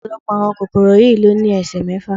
Ọ̀pọ̀lọpọ̀ àwọn kòkòrò yìí ló ní ẹsẹ mẹ́fà.